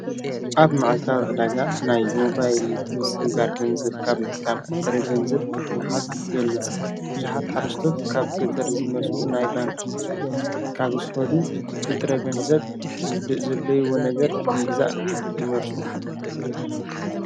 ኣብ መዓልታ ዕዳጋ ናይ ሞባይል ምስግጋር ገንዘብ ካብ ምትካም ብጥረገንዘብ ንሓዝ በልጽ ብዙኃት ሓስቶት ካብ ቀተር ዚመጹ ናይ ባንኪ ካብ ስኸዱ ብጥረ ገንዘብ ዘለይዎ ነገር ንግዛእ ይመርፁ።